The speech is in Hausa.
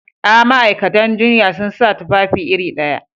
A, ma'aikatan jinya sun sa tufafi iri ɗaya